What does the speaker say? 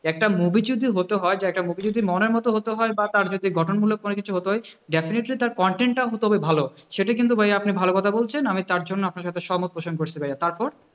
একটা movie যদি হতে হয়, যে একটা movie যদি মনের মতো হতে হয় বা তার চাইতে গঠনমূলক কোনো কিছু হতে হয় definitely তার content টাও হতে হবে ভালো, সেটা কিন্তু ভাই আপনি ভালো কথা বলছেন, আমি তারজন্য আপনার সাথে সহমত পোষণ করছি ভাইয়া তারপর